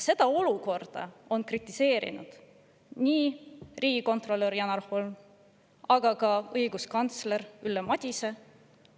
Seda olukorda on kritiseerinud nii riigikontrolör Janar Holm kui ka õiguskantsler Ülle Madise.